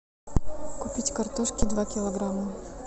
купить картошки два килограмма